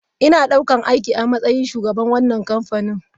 Ina ɗaukar aiki a matsayin shugaban wannan kamfani.